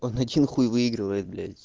один хуй выигрывает блять